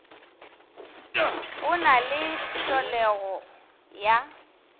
go na le tlholego ya